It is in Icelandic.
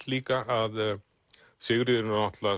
líka að Sigríður